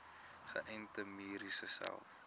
geënte merries selfs